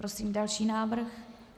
Prosím další návrh.